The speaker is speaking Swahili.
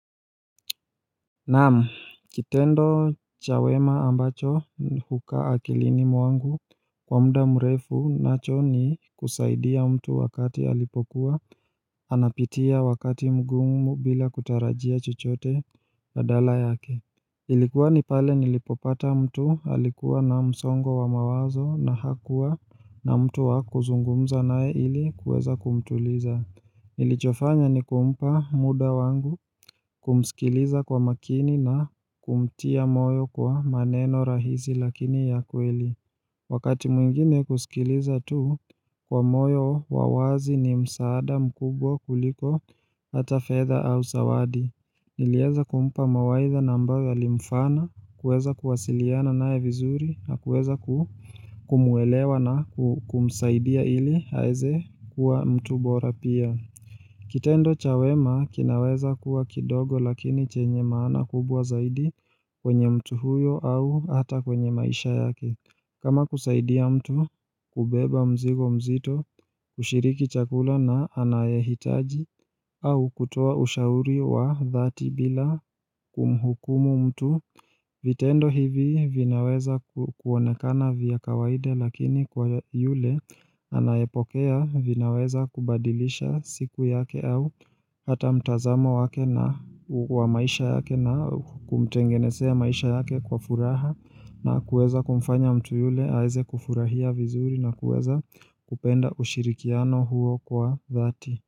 Naam, kitendo cha wema ambacho hukaa akilini mwangu kwa mda mrefu nacho ni kusaidia mtu wakati alipokuwa anapitia wakati mgumu bila kutarajia chochote badala yake. Ilikuwa ni pale nilipopata mtu alikuwa na msongo wa mawazo na hakuwa na mtu wa kuzungumza nae ili kuweza kumtuliza. Nilichofanya ni kumpa muda wangu kumsikiliza kwa makini na kumtia moyo kwa maneno rahisi lakini ya kweli Wakati mwingine kusikiliza tu kwa moyo wa wazi ni msaada mkubwa kuliko hata fedha au sawadi nilieza kumpa mawaidha na ambayo yalimfana kuweza kuwasiliana naye vizuri na kuweza kumwelewa na kumsaidia ili aeze kuwa mtu bora pia Kitendo cha wema kinaweza kuwa kidogo lakini chenye maana kubwa zaidi kwenye mtu huyo au hata kwenye maisha yake kama kusaidia mtu kubeba mzigo mzito kushiriki chakula na anayahitaji au kutoa ushauri wa dhati bila kumhukumu mtu vitendo hivi vinaweza kuonekana vya kawaida lakini kwa yule anayepokea vinaweza kubadilisha siku yake au hata mtazamo wake na wa maisha yake na kumtengenezea maisha yake kwa furaha na kuweza kumfanya mtu yule aeze kufurahia vizuri na kuweza kupenda ushirikiano huo kwa dhati.